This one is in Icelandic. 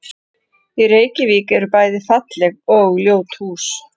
Í Reykjavík eru bæði falleg og ljót hús.